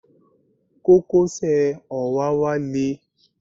Kókósẹ̀ òwáwá le.